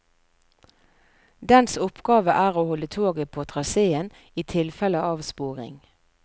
Dens oppgave er å holde toget på traseen i tilfelle avsporing.